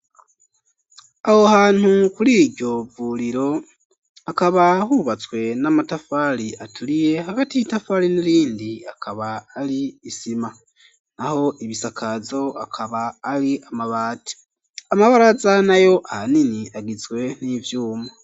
Aho hantu kuri iryo vuriro, hakaba hubatswe n'amatafari aturiye, hagati y'itafari n'irindi akaba ari isima. Naho ibisakazo akaba ari amabati. Amabaraza nayo ahanini agizwe n'ivyuma.